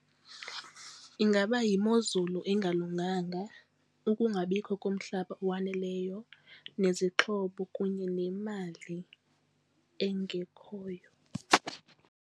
Ingaba yimozulu engalunganga, ukungabikho komhlaba owaneleyo nezixhobo, kunye nemali engekhoyo.